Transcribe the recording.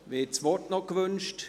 Wir das Wort noch gewünscht?